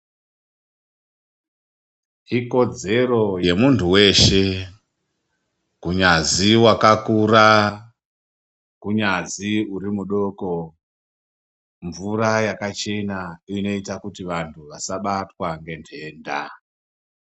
Ikodzero yemuntu weshe kunyazi wakakura, kunyazi urimudoko, mvura yakachena inoite kuti vantu vasabatwa nge nhenda.